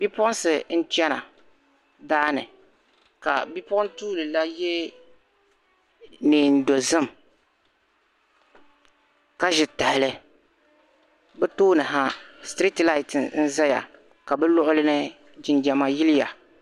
Bipuɣunsi n chani daani ka bipuɣun tuili la yɛ neen dozim ka ʒi tahali bi tooni ha street light n ʒɛya ka bi luɣulini jinjama yiliya